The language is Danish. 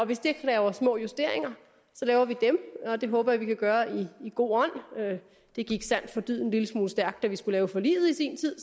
hvis det kræver små justeringer laver vi dem og det håber jeg vi kan gøre i en god ånd det gik sandt for dyden en lille smule stærkt da vi skulle lave forliget i sin tid